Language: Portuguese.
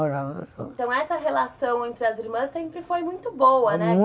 Então essa relação entre as irmãs sempre foi muito boa, né?